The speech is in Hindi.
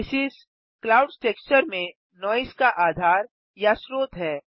बेसिस क्लाउड्स टेक्सचर में नॉइज़ का आधार या श्रोत है